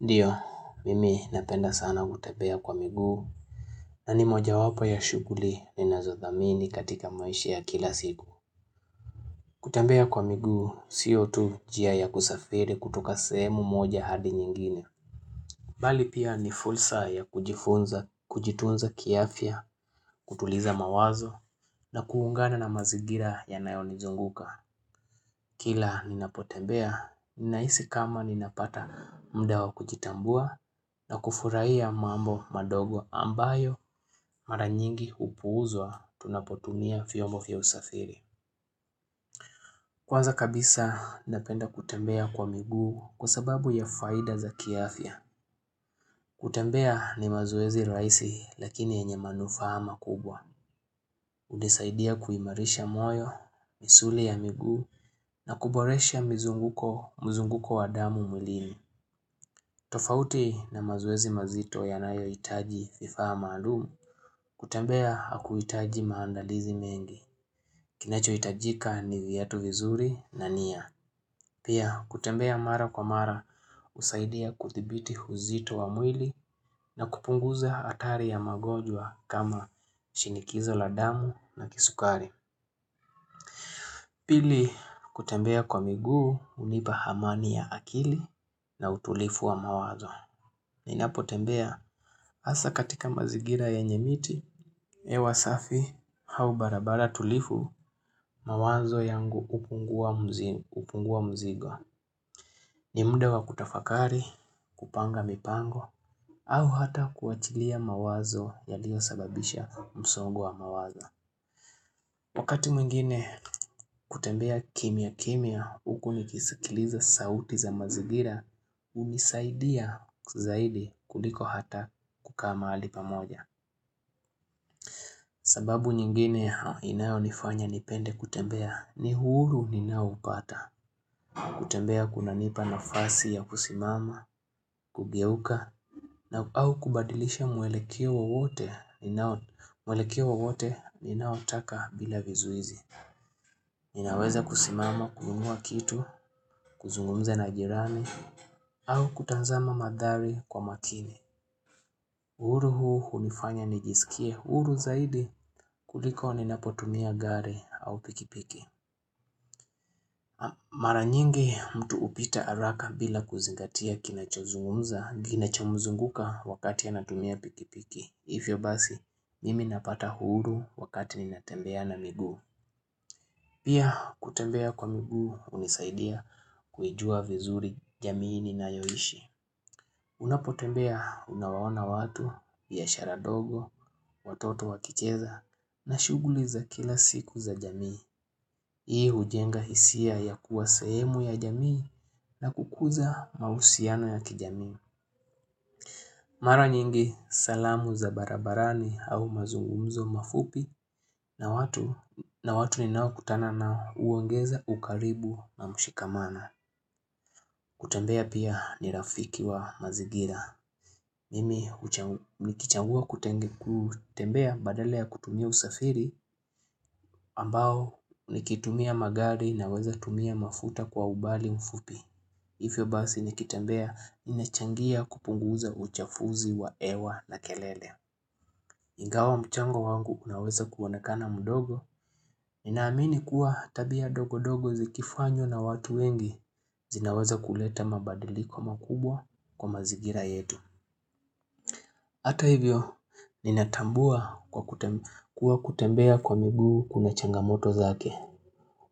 Ndio, mimi napenda sana kutembea kwa miguu na ni mojawapo ya shughuli ninazothamini katika maisha ya kila siku. Kutembea kwa miguu, sio tu njia ya kusafiri kutoka sehemu moja hadi nyingine. Bali pia ni fursa ya kujifunza, kujitunza kiafya, kutuliza mawazo na kuungana na mazigira ya yanayonizunguka. Kila ninapotembea, ninahisi kama ninapata muda kujitambua na kufurahia mambo madogo ambayo mara nyingi hupuuzwa tunapotunia vyombo vya usafiri. Kwanza kabisa, napenda kutembea kwa miguu kwa sababu ya faida za kiafya. Kutembea ni mazoezi rahisi lakini yenye manufaa makubwa. Hunisaidia kuimarisha moyo, misuli ya miguu na kuboresha mizunguko mzunguko wa damu mwilini. Tofauti na mazoezi mazito yanayohitaji vifaa maalumu kutembea hakuhitaji maandalizi mengi. Kinachohitajika ni viatu vizuri na nia. Pia kutembea mara kwa mara husaidia kudhibiti uzito wa mwili na kupunguza hatari ya magonjwa kama shinikizo la damu na kisukari. Pili, kutembea kwa miguu hunipa amani ya akili na utulivu wa moyo. Ninapotembea, hasa katika mazingira yenye miti, hewa safi, au barabara tulivu, mawazo yangu hupungua mzigo. Ni muda wa kutafakari, kupanga mipango, au hata kuachilia mawazo yaliyo sababisha msongo wa mawazo. Wakati mwingine kutembea kiyia kiyia huku nikisikiliza sauti za mazingira, hunisaidia kuliko hata kukaa mahali pa moja. Sababu nyingine inayonifanya nipende kutembea ni huru ninaupata, kutembea kunanipa nafasi ya kusimama, kugeuka, na au kubadilisha mwelekeo wote ninaotaka bila vizuizi. Ninaweza kusimama, kununua kitu, kuzungumza na jirani, au kutazama manthari kwa makini. Huru huu hunifanya nijisikie huru zaidi kuliko ninapotumia gari au pikipiki. Mara nyingi mtu hupita haraka bila kuzingatia kinachozungumza, kinachomuzunguka wakati anatumia pikipiki. Hivyo basi, nimi napata huru wakati ninatembea na miguu. Pia kutembea kwa miguu hunisaidia kuijua vizuri jamii ninayoishi. Unapotembea unawaona watu, biashara ndogo, watoto wakicheza na shughuli za kila siku za jamii. Hii hujenga hisia ya kuwa sehemu ya jamii na kukuza mahusiano ya kijamii. Mara nyingi salamu za barabarani au mazungumzo mafupi na watu ninaokutana nao huongeza ukaribu na mshikamano kutembea pia ni rafiki wa mazingira Mimi nikichagua kutembea badala ya kutumia usafiri ambao nikitumia magari na weza tumia mafuta kwa ubali mfupi Hivyo basi nikitembea ninachangia kupunguza uchafuzi wa hewa na kelele Ingawa mchango wangu unaweza kuonekana mdogo, ninaamini kuwa tabia dogodogo zikifanywa na watu wengi zinaweza kuleta mabadiliko makubwa kwa mazingira yetu. Hata hivyo, ninatambua kuwa kutembea kwa miguu kuna changamoto zake,